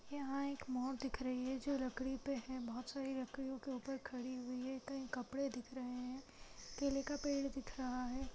यहाँ एक मोर दिख रही है जो लकड़ी पर है बहुत सारी लकड़ियों के ऊपर खड़ी हुई है कहीं कपड़े दिख रहे हैं केले का पेड़ दिख रहा है।